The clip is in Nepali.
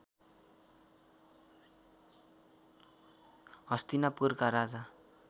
हस्तिनापुरका राजा